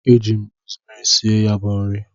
Eji m rosmeri sie ya bu nri.